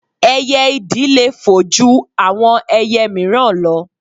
Ẹyẹ ìdì le fò ju àwọn ẹyẹ míìràn lọ